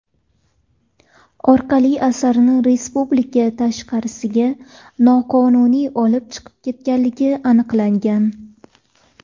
orqali asarni respublika tashqarisiga noqonuniy olib chiqib ketganligi aniqlangan.